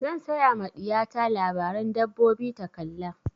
Zan saya ma ɗiya ta labaren dabbobi ta kalla.